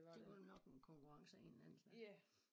Det vel nok en konkurrence af en eller anden slags